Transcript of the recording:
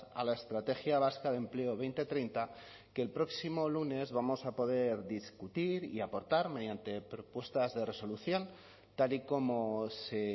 a la estrategia vasca de empleo dos mil treinta que el próximo lunes vamos a poder discutir y aportar mediante propuestas de resolución tal y como se